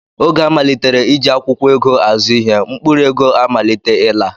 Oge a malitere iji akwụkwọ ego azụ ihe, mkpụrụ ego amalite ịla